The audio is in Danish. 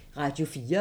Radio 4